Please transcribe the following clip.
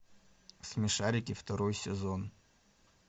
смешарики второй сезон